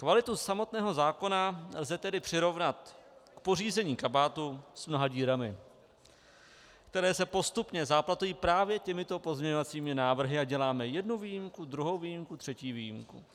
Kvalitu samotného zákona lze tedy přirovnat k pořízení kabátu s mnoha dírami, které se postupně záplatují právě těmito pozměňovacími návrhy, a děláme jednu výjimku, druhou výjimku, třetí výjimku.